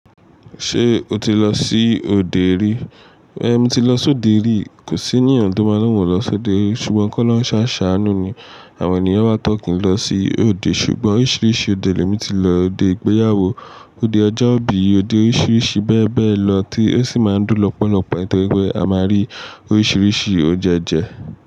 Ṣé o ti lọ sí òde rí? É mi ti lọ sí òde rí. Kò sí ènìyàn tó máa lọ wọ́n lọ sí òde rí. Ṣùgbọ́n kọ́lohun ṣàṣà àánú ni àwọn ènìyàn máa ń tọ́kìnlọ sí òde. Ṣùgbọ́n oríṣiríṣi òde lẹ mí ti lọ. Ode ìgbéyàwó, ode ọjọ́ ìbí, ode oríṣiríṣi bẹ́ẹ̀ bẹ́ẹ̀ lọ tí ó sì máa ń dún lọ́pọ̀lọpọ̀. Nítorí pé a máa rí oríṣiríṣi oúnjẹ jẹ.